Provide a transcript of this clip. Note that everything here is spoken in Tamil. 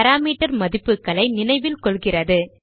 பாராமீட்டர் மதிப்புகளை நினைவில் கொள்கிறது